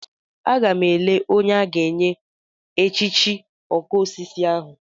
Agam ele onye a ga-enye echichi okosisi ahu.